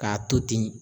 K'a to ten